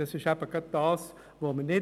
Das wollen wir eben gerade nicht.